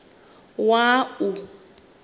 wua